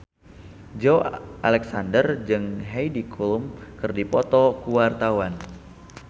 Joey Alexander jeung Heidi Klum keur dipoto ku wartawan